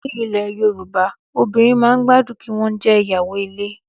Ní ilẹ̀ Yorùbá obìrin man gbádùn kí wọn jẹ ìyàwó ilé